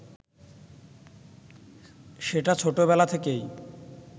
সেটা ছোটবেলা থেকেই